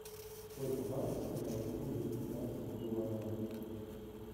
сколько батов с меня возьмут за пятнадцать гуарани